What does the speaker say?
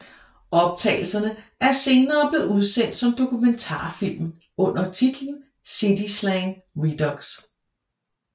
Optagelserne er senere blevet udsendt som dokumentarfilm under titlen City slang redux